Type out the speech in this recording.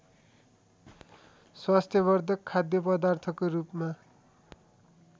स्वास्थ्यवधर्क खाद्यपदार्थको रूपमा